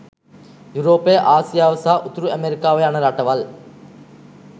යුරෝපය ආසියාව සහ උතුරු ඇමෙරිකාව යන රටවල්